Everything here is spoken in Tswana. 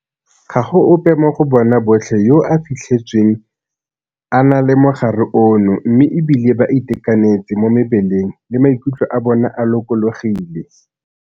Ga go ope mo go bona botlhe yo a fitlhetsweng a na le mogare ono mme e bile ba itekanetse mo mebeleng le maikutlo a bona a lokologile.